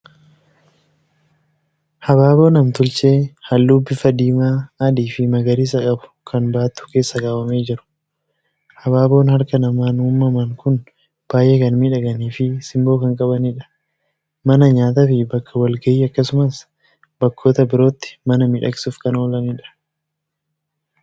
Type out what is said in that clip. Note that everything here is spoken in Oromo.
Habaaboo nam-tolchee halluu bifa diimaa, adii fi magariisa qabu kan baattuu keessa kaawwamee jiru. Habaaboon harka namaan uumaman kun baay'ee kan miidhaganii fi simboo kan qabanidha. Mana nyaataa fi bakka wal-gahii akkasumas bakkoota birootti mana miidhagsuuf kan oolanidha.